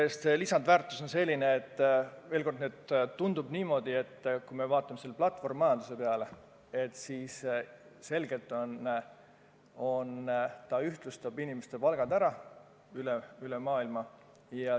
Mis puutub lisandväärtusse, siis veel kord: tundub niimoodi, et kui me vaatame siin platvormmajanduse peale, siis see selgelt ühtlustab inimeste palgad kogu maailmas.